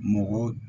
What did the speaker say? Mɔgɔ